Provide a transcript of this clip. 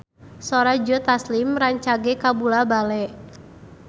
Sora Joe Taslim rancage kabula-bale